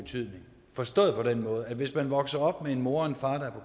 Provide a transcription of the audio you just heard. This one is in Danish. skal forstås på den måde at hvis man vokser op med en mor og en far der